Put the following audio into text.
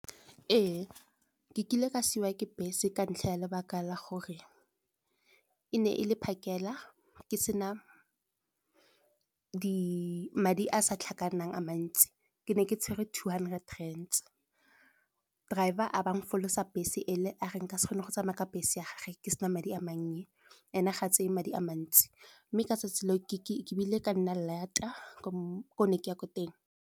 Ee, ke kile ka siwa ke bese ka ntlha ya lebaka la gore e ne e le phakela, ke sena madi a sa tlhakanang a mantsi. Ke ne ke tshwere two hundred rands, driver a be a folosa bese ele a re nka se kgone go tsamaya ka bese a gage ke sena madi a mannye, ene ga tseye madi a mantsi, mme ka 'tsatsi le o ke bile ka nna lata ko ne ke ya teng.